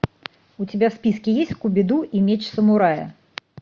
у тебя в списке есть скуби ду и меч самурая